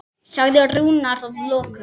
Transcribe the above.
sagði Rúnar að lokum.